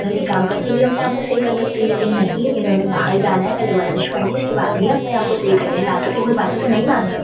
घर के काम करके भी अपने आप को सही कर सकती है लेकिन नहीं इन्होंने बाहर जाना है पहले वर्जिश करनी है उसके बाद ही अपने आप को सही करना है लातों के बातों से नहीं मानते--